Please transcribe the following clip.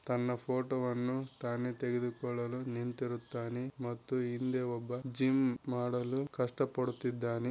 ತನ್ನ ಫೋಟೋ ವನ್ನು ತಾನೇ ತೆಗೆದುಕೊಳ್ಳಲು ನಿಂತಿರುತ್ತಾನೆ ಮತ್ತು ಹಿಂದೆ ಒಬ್ಬ ಜಿಮ್‌ ಮಾಡಲು ಕಷ್ಟಪಡುತ್ತಿದ್ದಾನೆ.